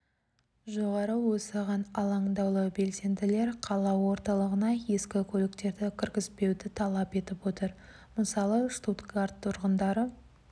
жоғары осыған алаңдаулы белсенділер қала орталығына ескі көліктерді кіргізбеуді талап етіп отыр мысалы штутгарт тұрғындары